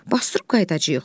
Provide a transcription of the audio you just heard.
Basdırıb qayıdacağıq.